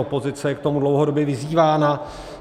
Opozice je k tomu dlouhodobě vyzývána.